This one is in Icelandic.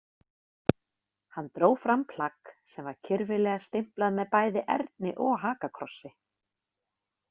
Hann dró fram plagg sem var kyrfilega stimplað með bæði erni og hakakrossi.